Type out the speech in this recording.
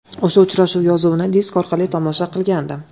O‘sha uchrashuv yozuvini disk orqali tomosha qilgandim.